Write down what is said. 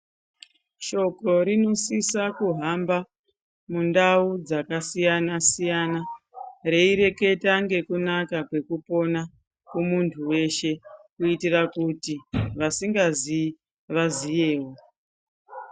Shoko rinosisa kuhamba mundau dzakasiyana siyana reiteketa ngekunaka kwekupona kumuntu weshe kuitira kuti vasingazii vaziyewo.